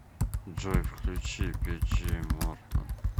джой включи пиджей мортон